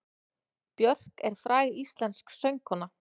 Björk er fræg íslensk söngkona.